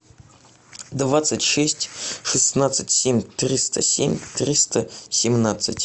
двадцать шесть шестнадцать семь триста семь триста семнадцать